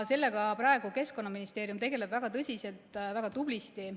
Sellega praegu Keskkonnaministeerium tegeleb väga tõsiselt ja väga tublisti.